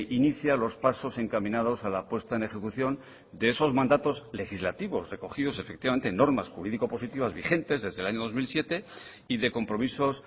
inicia los pasos encaminados a la puesta en ejecución de esos mandatos legislativos recogidos efectivamente en normas jurídico positivas vigentes desde el año dos mil siete y de compromisos